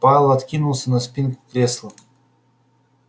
пауэлл откинулся на спинку кресла